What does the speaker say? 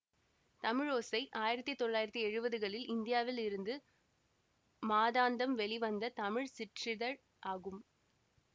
தமிழோசை ஆயிரத்தி தொள்ளாயிரத்தி எழுவதுகளில் இந்தியாவில் இருந்து மாதாந்தம் வெளிவந்த தமிழ் சிற்றிதழ் ஆகும்